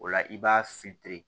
O la i b'a